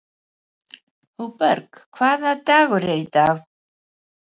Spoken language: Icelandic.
Hugberg, hvaða dagur er í dag?